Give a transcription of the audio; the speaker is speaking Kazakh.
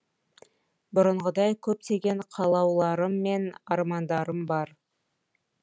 бұрынғыдай көптеген қалауларым мен армандарым бар